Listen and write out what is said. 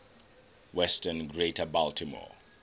western greater baltimore